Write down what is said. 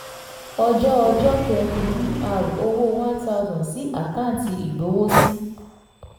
ọjọ́ ọjọ́ kẹ́rin: dr owó one thousand sí àkáǹtì ìgbowósí